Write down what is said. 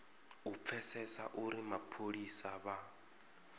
u pfesesa uri mapholisa vha